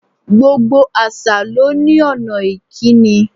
Gbogbo àṣà ló ní ònà ìkíni